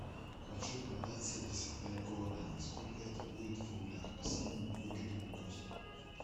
хочу продать семьдесят пять гуарани сколько это будет в рублях по самому выгодному курсу